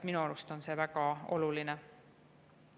Minu arust on see väga oluline.